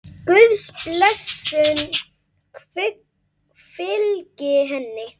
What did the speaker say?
Guðs blessun fylgi henni.